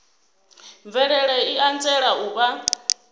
mvelelo i anzela u vha